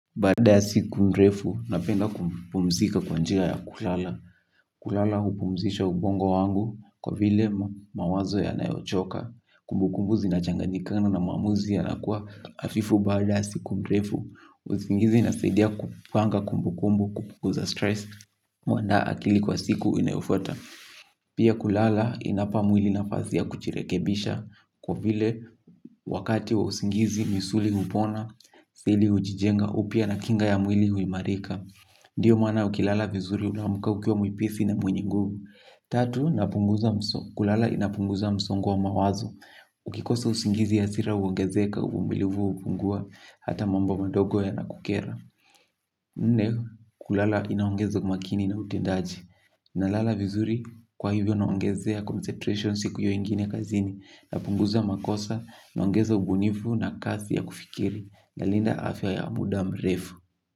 Baada ya siku mrefu napenda kupumzika kwa njia ya kulala. Kulala hupumzisha ubongo wangu kwa vile mawazo yanayochoka. Kumbu kumbu zinachanganyikana na maamuzi yanakua afifu baada ya siku mrefu. Uzingizi inasaidia kupanga kumbu kumbu kupunguza stress. Mwanda akili kwa siku inayofuata. Pia kulala inapa mwili nafasi ya kujirekebisha. Kwa vile wakati wa usingizi misuli hupona, asili hujijenga upya na kinga ya mwili huimarika. Ndiyo maana ukilala vizuri unaamka ukiwa mwepesi na mwenye guvu. Tatu, kulala inapunguza msongo wa mawazo. Ukikosa usingizi hasira uogezeka uvumilivu upungua hata mambo madogo yanakukera. Nne, kulala inaongeza umakini na utendaji. Nalala vizuri kwa hivyo naongezea concentration siku iyo ingine kazini napunguza makosa, naongeza ubunifu na kasi ya kufikiri nalinda afya ya muda mrefu.